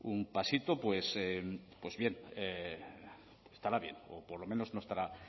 un pasito pues bien estará bien o por lo menos no estará